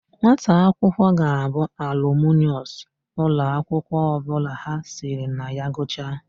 Nwata akwụkwọ ga-abụ alumunus ụlọakwụkwọ ọbụla ha siri na ya gụchaa.